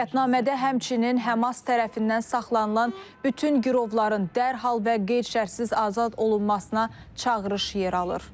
Qətnamədə həmçinin Həmas tərəfindən saxlanılan bütün girovların dərhal və qeyd-şərtsiz azad olunmasına çağırış yer alır.